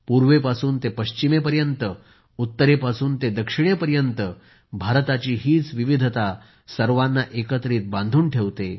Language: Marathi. पूर्वेपासून ते पश्चिमेपर्यंत उत्तरेपासून ते दक्षिणे पर्यंत भारताची हीच विविधता सर्वांना एकत्रित बांधून ठेवते